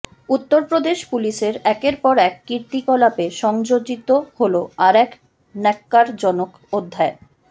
উত্তরপ্রদেশ পুলিশের একের পর এক কীর্তিকলাপে সংযোজিত হল আর এক ন্যক্কারজনক অধ্যায়